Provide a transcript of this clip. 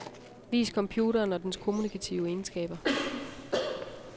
Vis computeren og dens kommunikative egenskaber.